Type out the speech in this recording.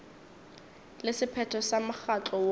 le sephetho sa mokgatlo woo